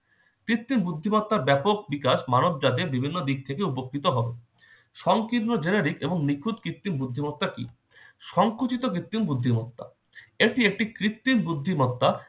কৃত্রিম বুদ্ধিমত্তার ব্যাপক বিকাশ মানবজাতির বিভিন্ন দিক থেকে উপকৃত হবে। সংকীর্ণ generic এবং নিখুঁত কৃত্রিম বুদ্ধিমত্তা কি? সংকুচিত কৃত্রিম বুদ্ধিমত্তা, এটি একটি কৃত্রিম বুদ্ধিমত্তা